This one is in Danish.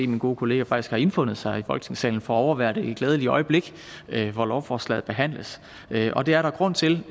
min gode kollega faktisk har indfundet sig i folketingssalen for at overvære det glædelige øjeblik hvor lovforslaget behandles og det er der grund til